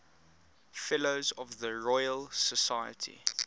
fellows of the royal society